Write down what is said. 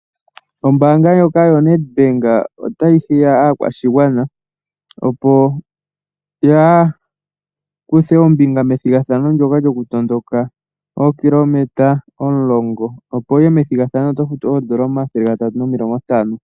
Ombaanga ndjoka yoNet bank otayi hiya aakwashigwana opo ya kuthe ombinga methigathano lyoka lyokutondoka ookilometa omulongo, opo wu ye methigathano ndika oto futu oodolla omathele gatatu nomilongo ntano.